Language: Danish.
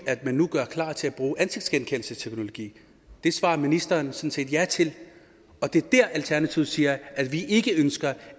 man nu gør klar til at bruge ansigtsgenkendelsesteknologi det svarer ministeren sådan set ja til og der er det alternativet siger at vi ikke ønsker